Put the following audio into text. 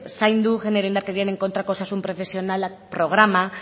zaindu genero indarkeriaren kontrako osasun profesionalak programa